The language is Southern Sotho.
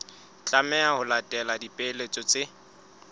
tlameha ho latela dipehelo tse